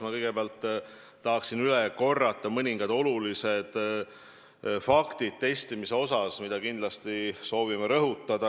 Ma neid kindlasti soovin rõhutada.